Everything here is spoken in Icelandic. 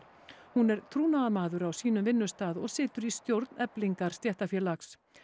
hún er trúnaðarmaður á sínum vinnustað og situr í stjórn Eflingar stéttarfélags